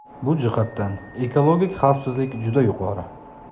Bu jihatdan ekologik xavfsizlik juda yuqori.